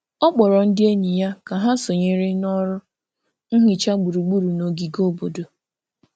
Ọ kpọrọ ndị enyi ya ka ha sonyere na ọrụ nhicha gburugburu n’ogige obodo.